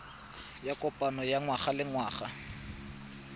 ya kopano ya ngwagalengwaga ya